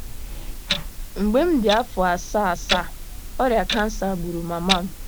Mgbe m dị afọ asaa asaa, ọrịa kansa gburu mama m.